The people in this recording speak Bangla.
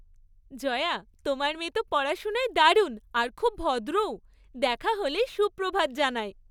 জয়া, তোমার মেয়ে তো পড়াশোনায় দারুণ আর খুব ভদ্রও। দেখা হলেই সুপ্রভাত জানায়।